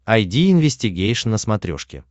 айди инвестигейшн на смотрешке